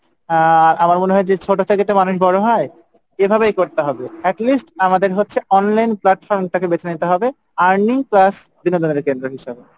আহ আমার মনে হয় যে ছোটো থেকে তো মানুষ বড়ো হয় এভাবেই করতে হবে at least আমাদের হচ্ছে online platform টাকে বেছে নিতে হবে earning plus বিনোদনের কেন্দ্র হিসাবে।